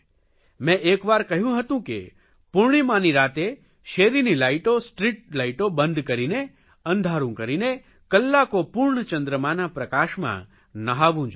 મેં એક વાર કહ્યું હતું કે પૂર્ણિમાની રાતે શેરીની લાઇટો સ્ટ્રીટ લાઇટો બંધ કરીને અંધારૂં કરીને કલાકો પૂર્ણ ચંદ્રમાના પ્રકાશમાં નહાવું જોઇએ